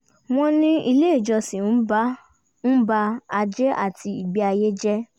wọ́n ní ilé ìjọsìn ń bà ajé àti ìgbé ayé jẹ